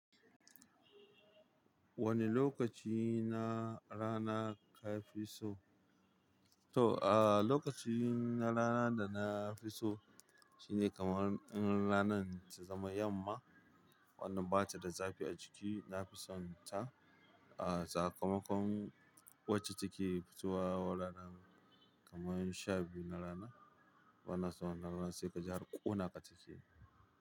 Wane lokaci na rana ka fi so? To, ah, lokaci na rana da na fi so shine kamar in rana ta zama yamma, wannan ba ta da zafi a ciki. Na fi son ta. Ah, sakamakon wacce take fitowa ranar kamar sha biyu na rana. Bana son ranar sai ka ji harƙonaka take.